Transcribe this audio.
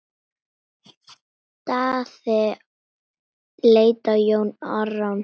Daði leit á Jón Arason.